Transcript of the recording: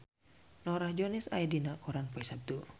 Norah Jones aya dina koran poe Saptu